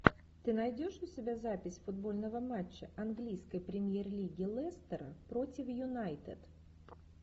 ты найдешь у себя запись футбольного матча английской премьер лиги лестера против юнайтед